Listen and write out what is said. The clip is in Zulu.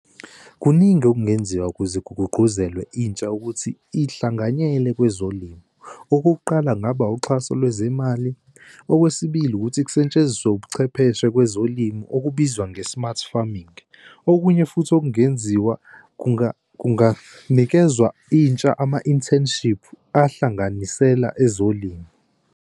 Kuningi okungenziwa ukuze kugqugquzelwe intsha ukuthi ihlanganyele kwezolimo. Okokuqala kungaba uxhaso lwezemali okwesibili, ukuthi kusetshenziswe ubuchwepheshe kwezolimo okubizwa nge-smart farming. Okunye futhi okungenziwa kunganikezwa intsha, ama-internships ahlanganisela ezolimo.